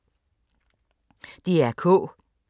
DR K